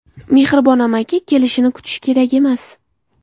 Mehribon amaki kelishini kutish kerak emas.